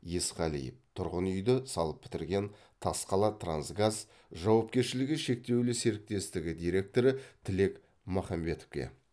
есқалиев тұрғын үйді салып бітірген тасқалатрансгаз жауапкершілігі шектеулі серіктестігі директоры тілек махметовке